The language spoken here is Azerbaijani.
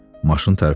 Maşın tərpəndi.